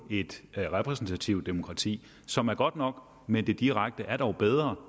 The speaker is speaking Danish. et repræsentativt demokrati som er godt nok men det direkte er dog bedre